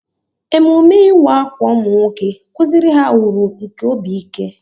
Emume ịwa ákwà ụmụ nwoke kụziiri ha uru nke obi ike.